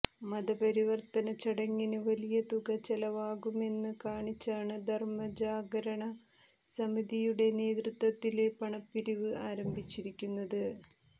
മതപരിവര്ത്തന ചടങ്ങിന് വലിയ തുക ചെലവാകുമെന്ന് കാണിച്ചാണ് ധര്മ ജാഗരണ സമിതിയുടെ നേതൃത്വത്തില് പണപ്പിരിവ് ആരംഭിച്ചിരിക്കുന്നത്